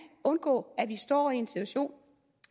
undgå at vi står i en situation